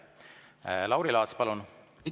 Lauri Laats, palun!